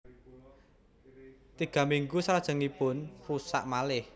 Tiga minggu selajengipun rusak malih